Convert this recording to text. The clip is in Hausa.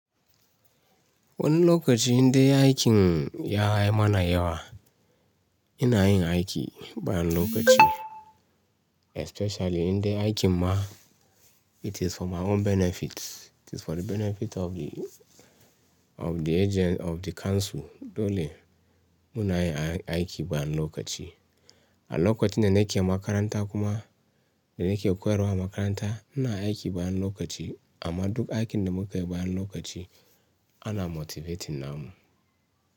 Wani lokaci indai aikin ya yi mana yawa ina yin aiki bayan lokaci especially indai aikin ma it is for my own benefit, it is for the benefit of the, of the agen-- of the council dole muna yin aiki bayan lokaci. A lokacin da nake makaranta kuma da nake koyarwa a makaranta ina aiki bayan lokaci amma duk aikin da muka yi bayan lokaci ana motivating namu.